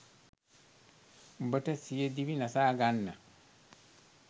උඹට සියදිවි නසා ගන්න